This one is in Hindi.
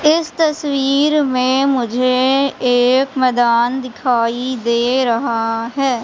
इस तस्वीर मे मुझे एक मैदान दिखाई दे रहा है।